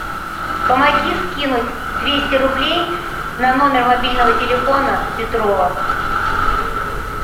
помоги скинуть двести рублей на номер мобильного телефона петрова